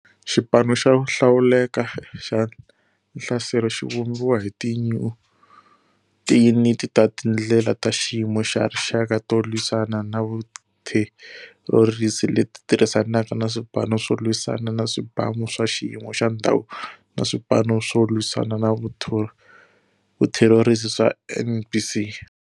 Xipano xo Hlawuleka xa Nhlaselo xi vumbiwa hi tiyuniti ta tindlela ta xiyimo xa rixaka to lwisana na vutherorisi leti tirhisanaka na Swipano swo Lwisana na Swibamu swa xiyimo xa ndhawu na Swipano swo Lwisana na Vutherorisi swa NBC.